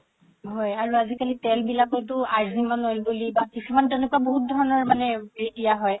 আজি কালি তেল বিলাকতও আজিমান oil বুলি বা কিছুমান তেনেকুৱা বহুত ধৰণৰ মানে হেৰি দিয়া হয়